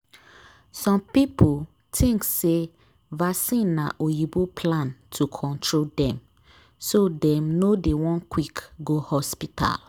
some people think say vaccine na oyibo plan to control dem so dem no dey one quick go hospital.